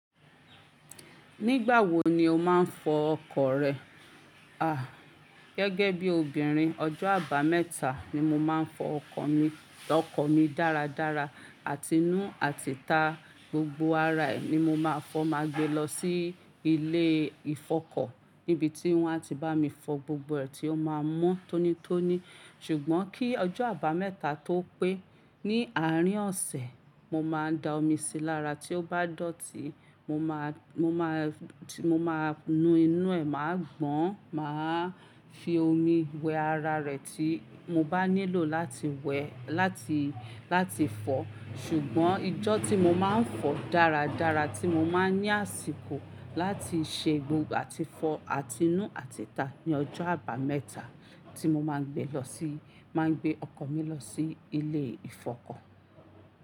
Nígbà wo ni o máa ń fọ ọkọ̀ rẹ? A, gẹ́gẹ́ bí obìnrin, ọjọ́ àbámẹ́ta ni mo máa ń fọ ọkọ̀ mi dáradára. Àtinú àtìta gbogbo ara ẹ̀ ni mo máa fọ má gbé lọ sí ilé ìfọkọ̀ níbi tí wọ́n a ti bá mi fọ gbogbo ẹ̀ tí ó máa ń mọ́ tónítóní. Ṣùgbọ́n kí ọjọ́ àbámẹ́ta tó pé, ní àárín ọ̀sẹ̀, mo máa da omi sí lára tí ó bá dọ̀tí, mo máa nu inú ẹ̀, màá gbọn, màá fi omi wẹ ara rẹ̀ tí mo bá nílò láti wẹ̀ láti fọ̀. Ṣùgbọ́n ijọ́ tí mo máa ń fọ dáradára tí mo máa ń ní àsìkò láti ṣe gbogbo àti fọ àtinú àti'ta ni ọjọ́ àbámẹ́ta tí mo máa ń gbé ọkọ̀ mi lọ sí ilé ìfọkọ̀.